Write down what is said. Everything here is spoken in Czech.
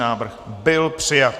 Návrh byl přijat.